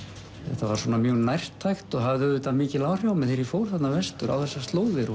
þetta var svona mjög nærtækt og hafði auðvitað mikil áhrif á mig þegar ég fór þarna vestur á þessar slóðir og